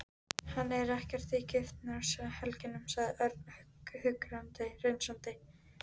Hann er ekkert í giftingarhugleiðingum, sagði Örn hughreystandi.